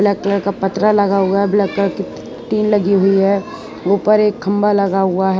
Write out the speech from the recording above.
Black colour का पतरा लगा हुआ है ब्लैक कलर की टीन लगी हुई है ऊपर एक खंभा लगा हुआ है।